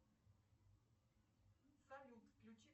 салют включи